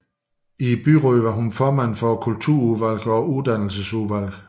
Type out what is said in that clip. I byrådet var hun formand for Kulturudvalget og Uddannelsesudvalget